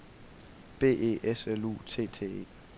B E S L U T T E